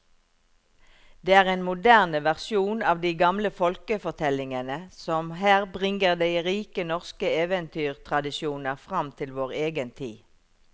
Det er en moderne versjon av de gamle folkefortellingene som her bringer de rike norske eventyrtradisjoner fram til vår egen tid.